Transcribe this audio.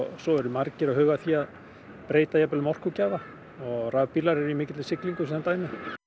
svo eru margir að huga að því að breyta um orkugjafa og rafbílarnir eru á mikilli siglingu sem dæmi